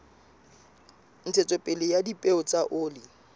ntshetsopele ya dipeo tsa oli